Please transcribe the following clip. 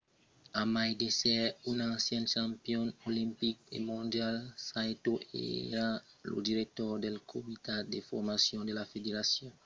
a mai d'èsser un ancian campion olimpic e mondial saito èra lo director del comitat de formacion de la federacion japonesa de judo al moment de sa mòrt